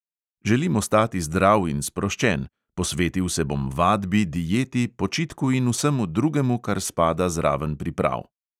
"Želim ostati zdrav in sproščen, posvetil se bom vadbi, dieti, počitku in vsemu drugemu, kar spada zraven priprav."